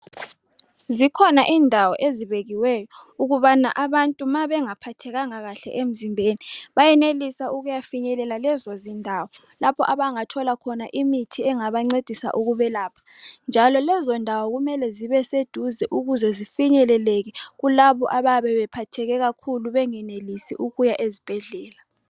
Zikhona indawo ezibekiweyo ukubana abantu nxa bengaphathekanga kahle emzimbeni benelisa ukubana beyefinyelela lezo zindawo lapho abangathola khona imithi engabangcedisa ukubelapha njalo lezo ndawo kumele zibe seduze ukuze zifinyeleleke kulabo abayaba bephatheke kakhulu bengenelisi ukuya esibhedlela